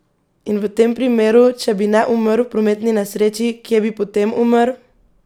In v tem primeru, če bi ne umrl v prometni nesreči, kje bi potem umrl?